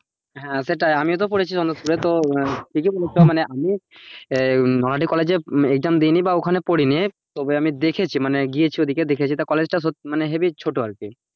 হ্যাঁ সেটাই আমিও তো করেছি সন্তোষপুরে মানে আমি নলহটি college এ HM দিইনি বা ওখানে পড়েনি তবে আমি দেখেছি মানে গিয়েছি ওদিকে দেখেছি মনে তো college টা heavy ছোট আর কি